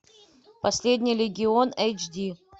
последний легион эйч ди